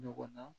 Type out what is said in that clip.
Ɲɔgɔn na